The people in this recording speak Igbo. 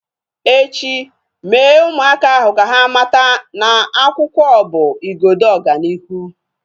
Echi, Mee ụmụaka ahu ka ha mata na akwụkwọ bụ igodo ọganihu